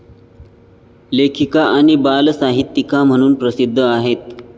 लेखिका आणि बालसाहित्यिका म्हणून प्रसिद्ध आहेत.